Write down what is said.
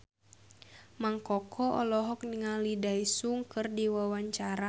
Mang Koko olohok ningali Daesung keur diwawancara